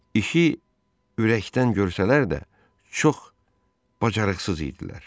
İşi ürəkdən görsələr də, çox bacarıqsız idilər.